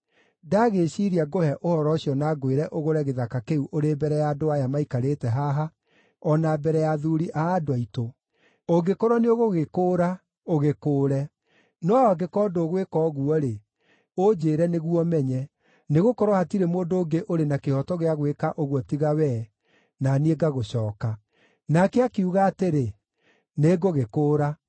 Ndagĩĩciiria ngũhe ũhoro ũcio na ngwĩre ũgũre gĩthaka kĩu ũrĩ mbere ya andũ aya maikarĩte haha o na mbere ya athuuri a andũ aitũ. Ũngĩkorwo nĩũgũgĩkũũra, ũgĩkũũre. No angĩkorwo ndũgwĩka ũguo-rĩ, ũnjĩĩre nĩguo menye. Nĩgũkorwo hatirĩ mũndũ ũngĩ ũrĩ na kĩhooto gĩa gwĩka ũguo tiga wee, na niĩ ngagũcooka.” Nake akiuga atĩrĩ, “Nĩngũgĩkũũra.”